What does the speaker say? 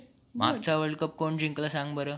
गुलामगिरीच्या छाताडावर प्रहार केला, ती विश्वमाता जिजामाता